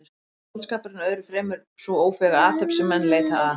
Skáldskapurinn er öðru fremur sú ófeiga athöfn sem menn leita að.